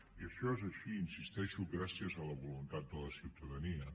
i això és així hi insisteixo gràcies a la voluntat de la ciutadania